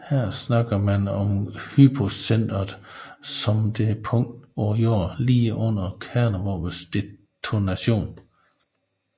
Her taler man om hypocenteret som det punkt på jorden lige under kernevåbnets detonation